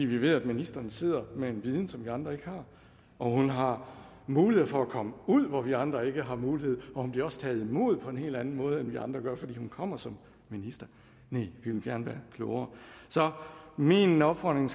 vi ved at ministeren sidder med en viden som vi andre ikke har og hun har muligheder for at komme ud hvor vi andre ikke har mulighed for og hun bliver også taget imod på en helt anden måde end vi andre gør fordi hun kommer som minister ja vi ville gerne være klogere så min opfordring